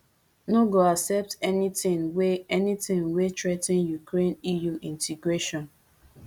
no go accept anything wey anything wey threa ten ukraine eu integration